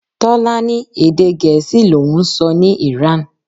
Tọ́lá ní Èdè Gèésì l'oun ń sọ ní Iran.